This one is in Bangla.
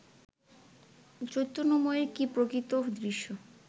চৈতন্যময়ের কি প্রকৃত উদ্দেশ্য